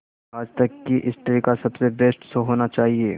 आज तक की हिस्ट्री का सबसे बेस्ट शो होना चाहिए